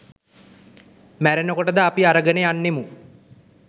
මැරෙනකොට ද අපි අරගෙන යන්නෙමු